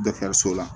Dɔkitɛriso la